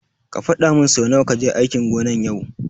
Ka fadamin su nawa kaje aikin gona yau.